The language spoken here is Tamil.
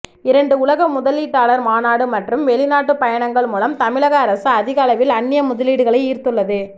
இரண்டு உலக முதலீட்டாளர் மாநாடு மற்றும் வெளிநாட்டுப் பயணங்கள் மூலம் தமிழக அரசு அதிகளவில் அன்னிய முதலீடுகளை ஈர்த்துள்ளது